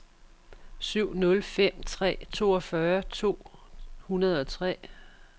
syv nul fem tre toogfyrre to hundrede og tre